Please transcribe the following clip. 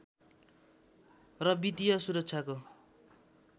र वित्तीय सुरक्षाको